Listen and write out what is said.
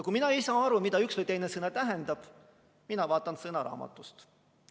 Kui mina ei saa aru, mida üks või teine sõna tähendab, siis ma vaatan sõnaraamatust järele.